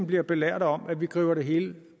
blevet belært om at vi har grebet det hele